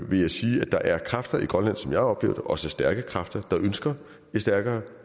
vil jeg sige at der er kræfter i grønland og som jeg oplever det også stærke kræfter der ønsker et stærkere